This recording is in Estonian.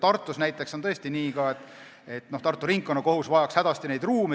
Tartus näiteks on tõesti nii, et Tartu Ringkonnakohus vajaks neid ruume hädasti.